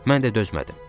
Mən də dözmədim.